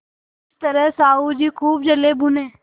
इस तरह साहु जी खूब जलेभुने